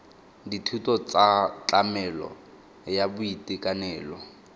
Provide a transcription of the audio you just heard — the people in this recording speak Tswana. dithuso tsa tlamelo ya boitekanelo